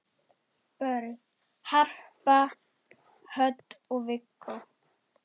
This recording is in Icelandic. Börn: Harpa Hödd og Viggó.